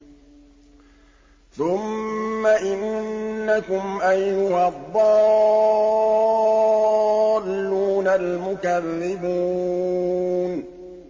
ثُمَّ إِنَّكُمْ أَيُّهَا الضَّالُّونَ الْمُكَذِّبُونَ